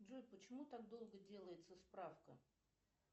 джой почему так долго делается справка